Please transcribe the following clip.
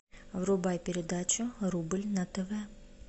врубай передачу рубль на тв